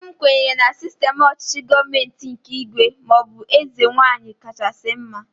Nne m kwenyere na sistem ọchịchị gọọmenti nke ígwè maọbụ eze nwaanyị kachasị mma